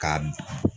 Ka